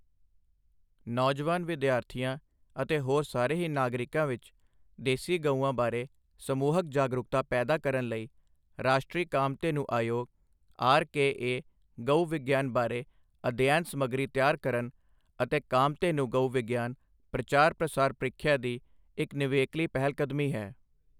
ਨੌਜਵਾਨ ਵਿਦਿਆਰਥੀਆਂ ਅਤੇ ਹੋਰ ਸਾਰੇ ਹੀ ਨਾਗਰਿਕਾਂ ਵਿਚ ਦੇਸੀ ਗਊਆਂ ਬਾਰੇ ਸਮੂਹਕ ਜਾਗਰੂਕਤਾ ਪੈਦਾ ਕਰਨ ਲਈ ਰਾਸ਼ਟਰੀ ਕਾਮਧੇਨੂ ਆਯੋਗ ਆਰਕੇਏ ਗਊ ਵਿਗਿਆਨ ਬਾਰੇ ਅਧਿਐਨ ਸਮੱਗਰੀ ਤਿਆਰ ਕਰਨ ਅਤੇ ਕਾਮਧੇਨੂ ਗਊ ਵਿਗਿਆਨ ਪ੍ਰਚਾਰ ਪ੍ਰਸਾਰ ਪ੍ਰੀਖਿਆ ਦੀ ਇਕ ਨਿਵੇਕਲੀ ਪਹਿਲਕਦਮੀ ਹੈ।